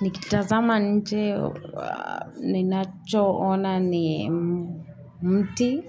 Nikitazama nje ninachoona ni mti